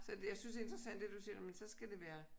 Så jeg synes det er interessant det du siger nåh men så skal det være